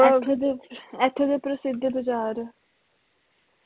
ਇਥੋਂ ਦੇ ਓਥੋਂ ਦੇ ਪ੍ਰਸਿੱਧ ਬਾਜ਼ਾਰ